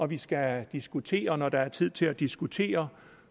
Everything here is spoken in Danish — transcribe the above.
vi skal diskutere når der er tid til at diskutere